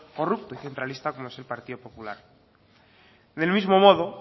corrupto centralista como es el partido popular del mismo modo